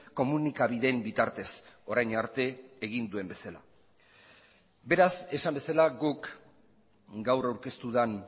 komunikabideen bitartez orain arte egin duen bezala beraz esan bezala guk gaur aurkeztu den